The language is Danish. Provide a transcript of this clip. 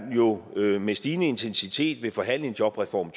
med stigende intensitet vil forhandle en jobreform